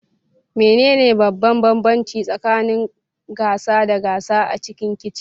Menene babban bambanci tsakanin gasa da gasa a cikin kicin?